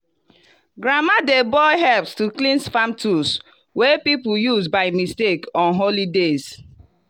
grandma dey boil herbs to cleanse farm tools wey people use by mistake on holy days.